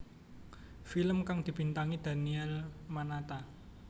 Filn kang dibintangi Daniel Mananta